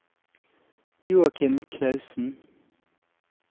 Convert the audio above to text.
Joakim Klausen